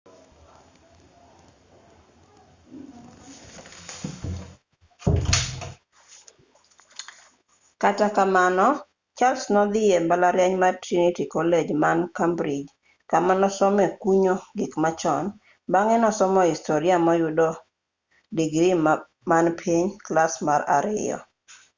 kata kamano charles nodhii e mbalariany mar trinity college man cambridge kama nosomee kunyo gik machon bang'e nosomo historia moyude moyudo 2:2 digri man piny clas mar ariyo